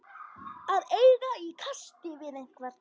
Að eiga í kasti við einhvern